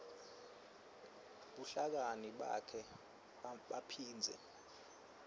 buhlakani bakhe baphindze